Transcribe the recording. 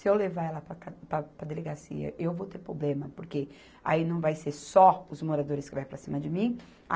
Se eu levar ela para a ca, para, para a delegacia, eu vou ter problema, porque aí não vai ser só os moradores que vai para cima de mim. A